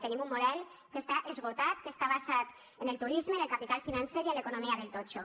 tenim un model que està esgotat que està basat en el turisme en el capital financer i en l’economia del totxo